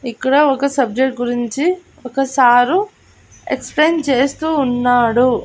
ఇక్కడ ఒక సబ్జెక్టు గురించి ఒక సారు ఎక్స్ప్లెయిన్ చేస్తూ ఉన్నాడు.